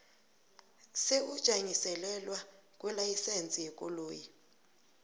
sokujanyiselelwa kwelayisense yekoloyi